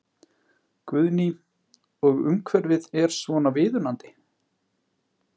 Guðný: Og umhverfið er svona viðunandi?